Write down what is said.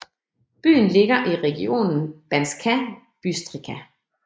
Byen ligger i regionen Banská Bystrica